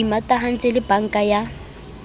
re imatahantse le banka ya